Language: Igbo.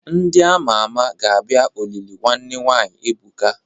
Ndị ama ama ga-abia olili nwanne nwanyi Ebuka.